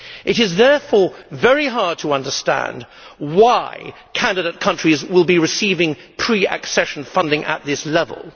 It is therefore very hard to understand why candidate countries will be receiving pre accession funding at this level.